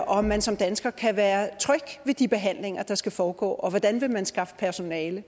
om man som dansker kan være tryg ved de behandlinger der skal foregå og hvordan vil man skaffe personale